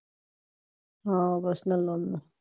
હમ personal નું